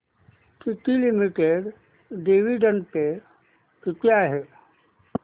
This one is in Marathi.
टीटी लिमिटेड डिविडंड पे किती आहे